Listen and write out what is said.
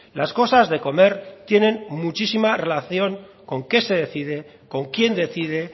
las cosas de comer tienen muchísima relación con qué se decide con quién decide